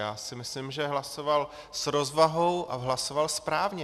Já si myslím, že hlasoval s rozvahou a hlasoval správně.